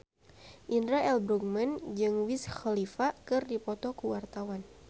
Indra L. Bruggman jeung Wiz Khalifa keur dipoto ku wartawan